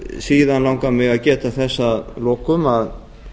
síðan langar mig að geta þess að lokum að